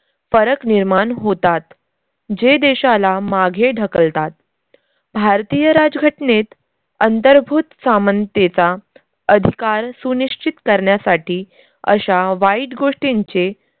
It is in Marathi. फरक निर्मान होतात जे देशाला माघे ढकलतात. भारतीय राज घटनेत अंतर्भूत सामनतेचा अधिकार सुनिश्चित करण्यासाठी अशा वाईट गोष्टींचे